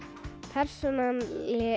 persónan